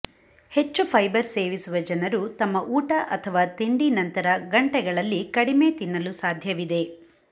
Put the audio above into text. ಹೆಚ್ಚು ಫೈಬರ್ ಸೇವಿಸುವ ಜನರು ತಮ್ಮ ಊಟ ಅಥವಾ ತಿಂಡಿ ನಂತರ ಗಂಟೆಗಳಲ್ಲಿ ಕಡಿಮೆ ತಿನ್ನಲು ಸಾಧ್ಯವಿದೆ